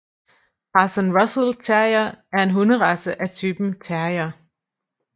Parson Russell Terrier er en hunderace af typen terrier